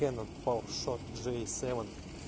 кэнон паувер шот джей севен